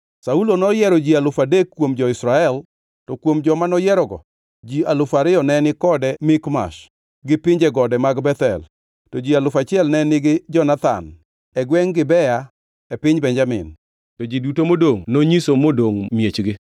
Saulo noyiero ji alufu adek kuom jo-Israel; to kuom joma noyierogo ji alufu ariyo ne ni kode Mikmash gi pinje gode mag Bethel, to ji alufu achiel ne nigi Jonathan e gwengʼ Gibea e piny Benjamin. To ji duto modongʼ nonyiso nodog miechgi.